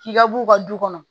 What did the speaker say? K'i ka bu u ka du kɔnɔ